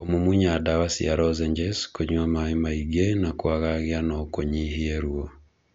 kũmumunya dawa cia lozenges, kũnywa maĩ maingĩ na kũngagia no kũnyihie ruo.